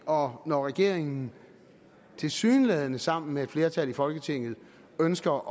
og når regeringen tilsyneladende sammen med et flertal i folketinget ønsker